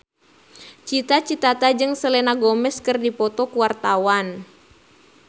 Cita Citata jeung Selena Gomez keur dipoto ku wartawan